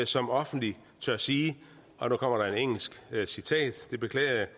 som offentligt tør sige og nu kommer der et engelsk citat det beklager jeg